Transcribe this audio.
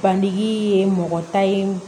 Bandigi ye mɔgɔ ta ye